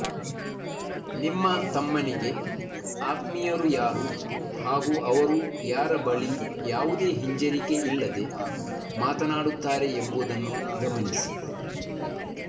ನಿಮ್ಮ ತಮ್ಮನಿಗೆ ಆತ್ಮೀಯರು ಯಾರು ಹಾಗೂ ಅವರು ಯಾರ ಬಳಿ ಯಾವುದೇ ಹಿಂಜರಿಕೆಯಿಲ್ಲದೇ ಮಾತನಾಡುತ್ತಾರೆ ಎಂಬುದನ್ನು ಗಮನಿಸಿ